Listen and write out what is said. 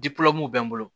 bɛ n bolo